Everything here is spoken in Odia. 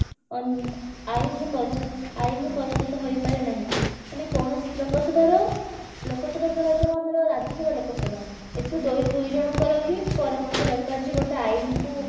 ଅ ଆଇନ ର ପରିଣ ଆଇନର ପରିଣତ ହୋଇପାରେ ନାହିଁ ମାନେ କୌଣସି ଲୋକସଭାର ଲୋକସଭାର ଧରାଯାଉ ଆମର ରାଜ୍ୟସଭା ଲୋକସଭା ଏଥିରୁ ଦୋଇ ଦୁଇ ଜଣଙ୍କର ହିଁ ପରାମର୍ଶ ଦରକାର ଯେ ଗୋଟେ ଆଇନକୁ